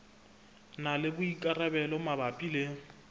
na le boikarabelo mabapi le